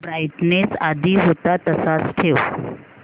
brightness आधी होता तसाच ठेव